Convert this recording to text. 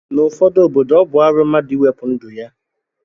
Na ụfọdu obodo ọbu arụ mmadu iwepu ndu ya